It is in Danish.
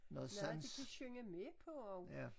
Noget de kan synge med på også